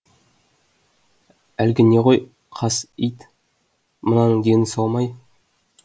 әлгі не ғой қас ит мынаның дені сау ма ей